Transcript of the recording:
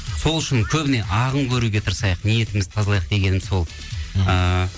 сол үшін көбіне ағын көруге тырысайық ниетімізді тазалайық дегенім сол ыыы